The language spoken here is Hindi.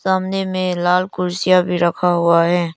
सामने मे लाल कुर्सिया भी रखा हुआ है।